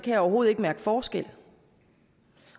jeg overhovedet ikke mærke forskel